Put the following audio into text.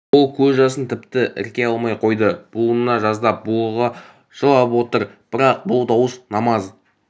ол көз жасын тіпті ірке алмай қойды буына жаздап булыға жылап отыр бірақ бұл дауыс намаз